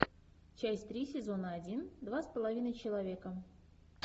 часть три сезона один два с половиной человека